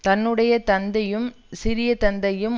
தன்னுடைய தந்தையும் சிறிய தந்தையும்